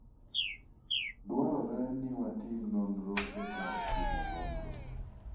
Dwarore ni watim nonro e kar timo nonro.